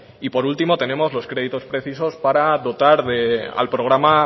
y por último tenemos los créditos precisos para dotar al programa